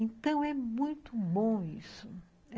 Então, é muito bom isso.